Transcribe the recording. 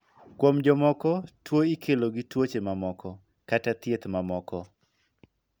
Kuom jomoko ,tuo ikelo gi tuoche mamoko, kata thieth mamoko.